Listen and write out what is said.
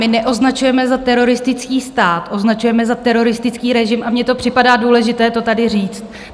My neoznačujeme za teroristický stát, označujeme za teroristický režim a mně to připadá důležité to tady říct.